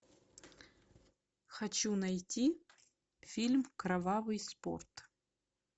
хочу найти фильм кровавый спорт